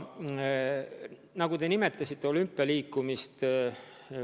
Aga te nimetasite olümpialiikumist.